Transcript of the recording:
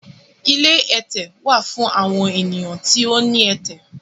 Ilé ẹtẹ wà fún awọn ènìyàn tí o ní ẹtẹ